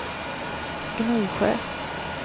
Gnosjö